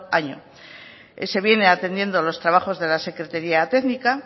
año se viene atendiendo los trabajos de la secretaría técnica